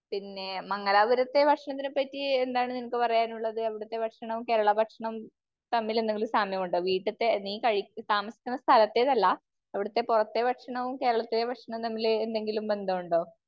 പിന്നെ മംഗലാപുരത്തെ ഭക്ഷണത്തിനെ പറ്റി എന്താണ് നിനക്ക് പറയാനുള്ളത്? അവിടത്തെ ഭക്ഷണവും കേരള ഭക്ഷണവും തമ്മിൽ എന്തെങ്കിലും സാമ്യമുണ്ടോ? വീട്ടിൽത്തെ, നീ കഴി, നീ താമസിക്കുന്ന സ്ഥലത്തെ അല്ല, അവിടത്തെ പുറത്തെ ഭക്ഷണവും കേരളത്തിലെ ഭക്ഷണവും തമ്മിൽ എന്തെങ്കിലും ബന്ധമുണ്ടോ?